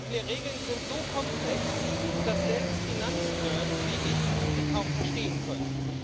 Die Regeln sind so komplex, dass selbst Finanznerds wie ich sie kaum verstehen können.